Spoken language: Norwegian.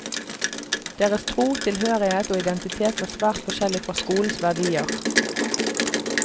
Deres tro, tilhørighet og identitet var svært forskjellig fra skolens verdier.